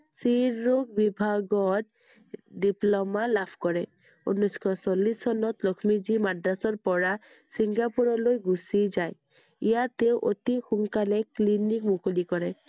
স্ত্ৰীৰোগ বিভাগত diploma লাভ কৰে i ঊনৈছ শ চল্লিছ চনত লক্ষ্মীজীয়ে মাদ্ৰাজৰ পৰা চিঙ্গাপুৰলৈ গুচি যায়। ইয়াত তেওঁ অতি সোনকালে clinic মুকলি কৰে i